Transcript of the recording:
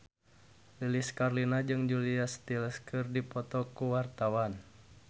Lilis Karlina jeung Julia Stiles keur dipoto ku wartawan